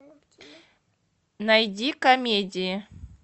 найди комедии